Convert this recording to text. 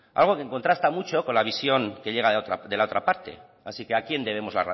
algo que contrasta mucho con la visión que llega de la otra parte así que a quién debemos